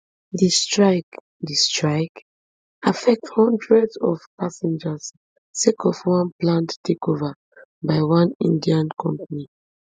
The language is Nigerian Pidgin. di strike di strike affect hundreds of passengers sake of one planned takeover by one indian company